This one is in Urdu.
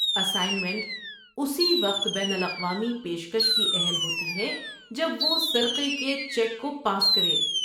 اسائنمنٹ اسی وقت بین الاقوامی پیشکش کی اہل ہوتی ہے جب وہ سرقے کے چیک کو پاس کرے۔